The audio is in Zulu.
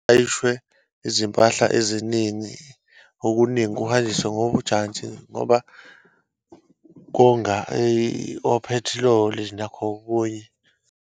Kulayishwe izimpahla eziningi, okuningi kuhanjiswe ngojantshi ngoba konga ophethiloli nakho okunye.